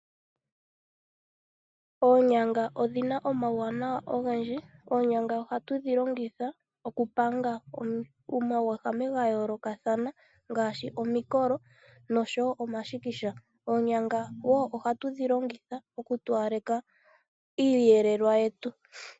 Oonyanga odhina omawuwanawa ogendji. Oonyanga ohatudhi longitha okulanga omauvu ga yoolokathana ngaashi omikolo noshowo omashikisha. Oonyanga woo ohatudhi longitha okutowalekitha iiyelelwa yetu.